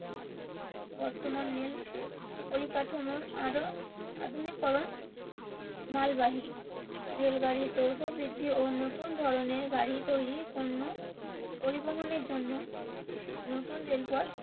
বর্তমান রেল পরিকাঠামো আরো আধুনিকরণ মালবাহী রেল গাড়ির দৈর্ঘ্য বৃদ্ধি ও নতুন ধরণের গাড়ি তৈরীর পণ্য পরিবহনের জন্য নতুন রেলপথ